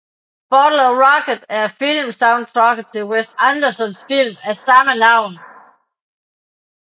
Bottle Rocket er filmsoundtracket til Wes Andersons film af samme navn